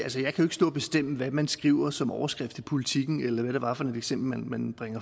stå og bestemme hvad man skriver som overskrift i politiken eller hvad det var for et eksempel man